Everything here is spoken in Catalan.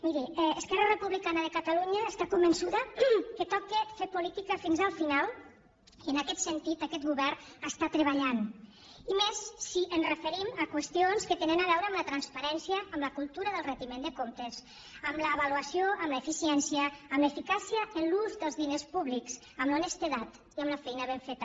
miri esquerra republicana de catalunya està convençuda que toca fer política fins al final i en aquest sentit aquest govern està treballant i més si ens referim a qüestions que tenen a veure amb la transparència amb la cultura del retiment de comptes amb l’avaluació amb l’eficiència amb l’eficàcia en l’ús dels diners públics amb honestedat i amb la feina ben feta